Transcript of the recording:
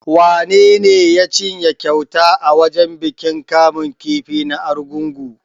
Wanene ya cinye kyautar a wajen bikin kamun kifi na Argungu?